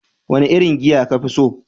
Wane irin giya ka fi so?